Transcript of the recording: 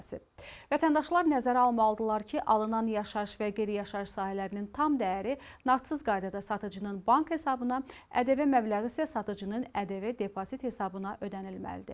Vətəndaşlar nəzərə almalıdırlar ki, alınan yaşayış və qeyri-yaşayış sahələrinin tam dəyəri nağdsız qaydada satıcının bank hesabına, ƏDV məbləği isə satıcının ƏDV depozit hesabına ödənilməlidir.